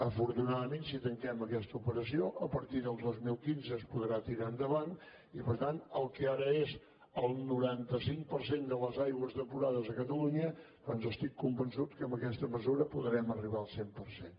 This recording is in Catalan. afortunadament si tanquem aquesta operació a partir del dos mil quinze es podrà tirar endavant i per tant el que ara és el noranta cinc per cent de les aigües depurades a catalunya doncs estic convençut que amb aquesta mesura podrem arribar al cent per cent